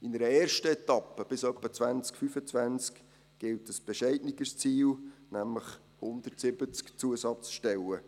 In einer ersten Etappe, bis etwa 2025, gilt ein bescheideneres Ziel, nämlich zusätzliche 170 Stellen.